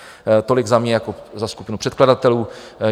Tolik za mě jako za skupinu předkladatelů.